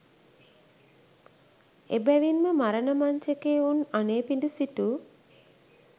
එබැවින්ම මරණ මංචකයේ උන් අනේපිඩු සිටු